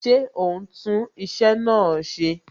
Ṣé o ń tún iṣẹ́ náà ṣe?